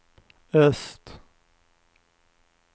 öst